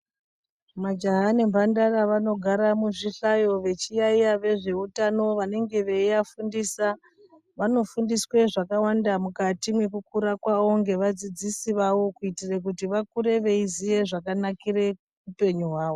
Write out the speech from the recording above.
Majaha ne mbandara vanogara muzvi hlayo vechi yayiya vezve utano vanenge vei afundisa vano fundiswe zvakawanda mukati mweku kura kwavo ngeva dzidzisi vawo kuitira kuti vakure veiziye zvaka nakire upenyu hwawo.